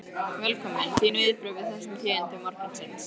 Velkominn, þín viðbrögð við þessum tíðindum morgunsins?